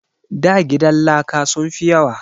Da gidan laka sun fi yawa